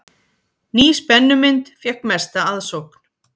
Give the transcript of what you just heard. Ný spennumynd fékk mesta aðsókn